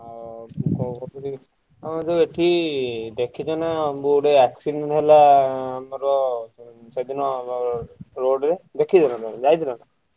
ଆଉ କଣ କହୁଥିଲି ଆମର ଯୋଉ ଏଠି ଦେଖିଛ ନାଁ road accident ହେଲା ଆମର ସେଦିନ ଯୋଉ road ରେ ଦେଖିଛ ନାଁ ତମେ ଯାଇଛ ନା?